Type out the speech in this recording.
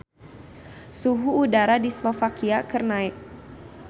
Suhu udara di Slovakia keur naek